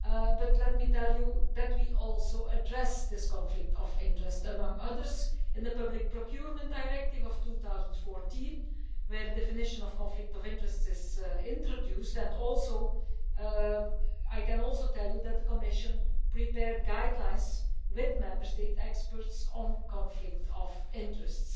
But let me tell you that we also addressed this conflict of interest among other things in the public procurement directive of 2014, where the definition of conflict of interest is introduced, and I can also tell you that the Commission prepared guidelines with Member State experts on conflict of interests.